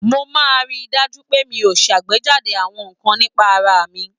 Mo máa ń ri dájú pé mi ò ṣàgbéjáde àwọn nǹkan nípa ara mi.